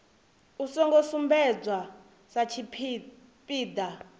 u songo sumbedzwa sa tshipiḓa